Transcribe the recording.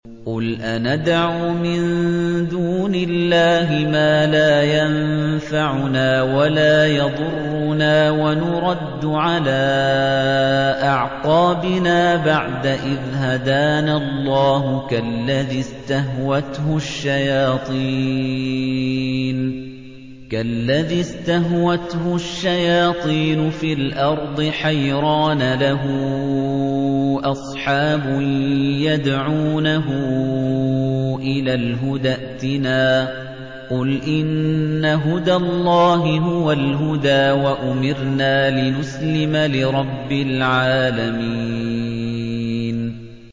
قُلْ أَنَدْعُو مِن دُونِ اللَّهِ مَا لَا يَنفَعُنَا وَلَا يَضُرُّنَا وَنُرَدُّ عَلَىٰ أَعْقَابِنَا بَعْدَ إِذْ هَدَانَا اللَّهُ كَالَّذِي اسْتَهْوَتْهُ الشَّيَاطِينُ فِي الْأَرْضِ حَيْرَانَ لَهُ أَصْحَابٌ يَدْعُونَهُ إِلَى الْهُدَى ائْتِنَا ۗ قُلْ إِنَّ هُدَى اللَّهِ هُوَ الْهُدَىٰ ۖ وَأُمِرْنَا لِنُسْلِمَ لِرَبِّ الْعَالَمِينَ